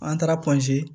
An taara